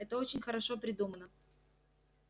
это очень хорошо придумано